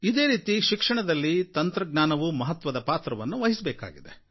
ಇದೇ ರೀತಿ ಶಿಕ್ಷಣದಲ್ಲಿ ತಂತ್ರಜ್ಞಾನವೂ ಮಹತ್ವದ ಪಾತ್ರವನ್ನು ವಹಿಸಬೇಕಾಗಿದೆ